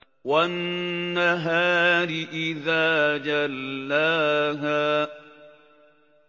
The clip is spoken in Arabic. وَالنَّهَارِ إِذَا جَلَّاهَا